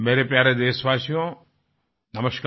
मेरे प्यारे देशवासियो नमस्कार